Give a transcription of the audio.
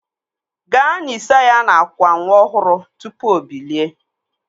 Gaa nisa ya n'akwa nwa ọhụrụ tụpụ o bilie